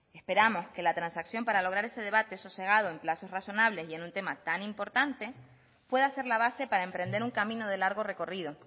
esperamos que la transacción para lograr ese debate sosegado en plazos razonables y en un tema tan importante pueda ser la base para emprender un camino de largo recorrido